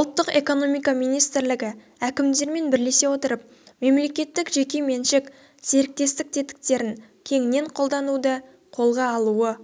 ұлттық экономика министрілігі әкімдермен бірлесе отырып мемлекеттік-жеке меншік серіктестік тетіктерін кеңінен қолдануды қолға алуы